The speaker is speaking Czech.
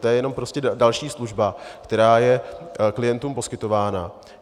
To je jenom prostě další služba, která je klientům poskytována.